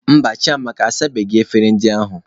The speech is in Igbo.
Mba, Chiamaka asabeghị efere ndị ahụ.